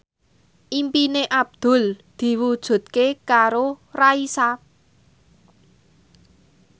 impine Abdul diwujudke karo Raisa